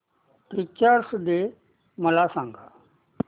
teachers day मला सांग